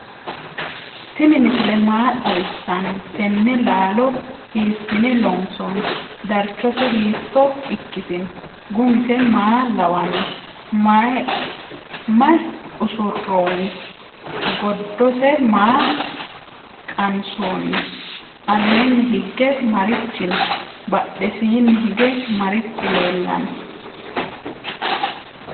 tini misile maa xawisano? teene lalo hisine lonsoni? darchose hito ikitino? gumise maa lawano ? mayi usuronni? goddose maa qansoni? allenni hige marichi no?badhesini hige marichi lelano?